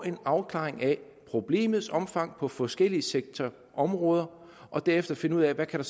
en afklaring af problemets omfang på forskellige sektorområder og derefter finde ud af hvad der